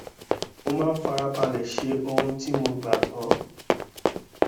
mo máa ń fara balè ṣe ohun tí mo gbà gbó